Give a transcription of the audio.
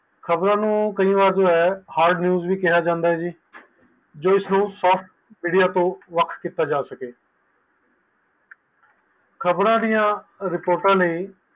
ਖ਼ਬਰ ਨੂੰ ਕਈ ਵਾਰ hard news ਵੀ ਕਿਹਾ ਜਨਦਾ ਹੈ ਜੋ ਇਸ ਨੂੰ soft ਏਰੀਆ ਤੋਂ ਵੱਖ ਕੀਤਾ ਜਾ ਸਕੇ